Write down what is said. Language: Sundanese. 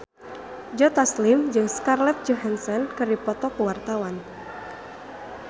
Joe Taslim jeung Scarlett Johansson keur dipoto ku wartawan